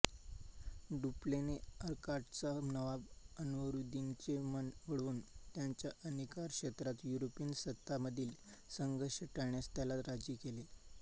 डुप्लेने अर्काटचा नवाब अन्वरूद्दिनचे मन वळवून त्याच्या अधिकारक्षेत्रात युरोपियन सत्तांमधील संघर्ष टाळण्यास त्याला राजी केले